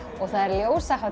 og það er